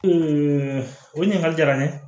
o ɲininkali jara n ye